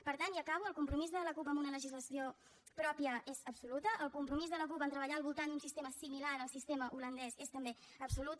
per tant i acabo el compromís de la cup amb una legislació pròpia és absolut el compromís de la cup a treballar al voltant d’un sistema similar al sistema holandès és també absolut